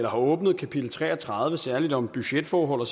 åbnet kapitel tre og tredive særligt om budgetforhold